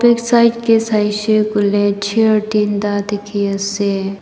Left side kae saishe kole chair tinta dekhe ase.